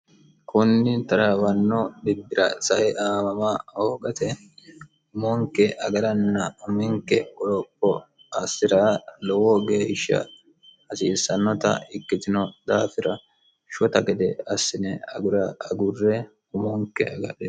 kunni taraawanno dibbira saye aamama hoogate umonke agaranna uminke qoropo assi'ra lowo geeshsha hasiissannota ikkitino daafira shota gede assine agurre umonke agadhe